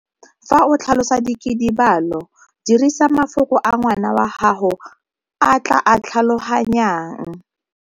Fa o tlhalosa dikidibalo, dirisa mafoko a ngwana wa gago a tla a tlhaloganyang.